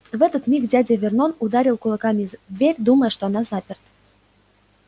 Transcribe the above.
в этот миг дядя вернон ударил кулаками в дверь думая что она заперта